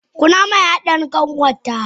Kunama ya Dani kanwarta.